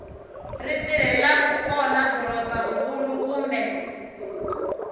ri tirhelaku kona dorobankulu kumbe